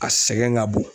A sɛgɛn ka bon